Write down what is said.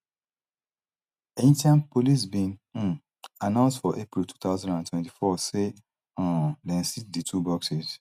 haitian police bin um announce for april two thousand and twenty-four say um dem seize di two boxes